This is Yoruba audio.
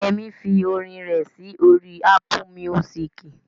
Yẹmí fi orin rẹ̀ sí orí Ápù míúsìkì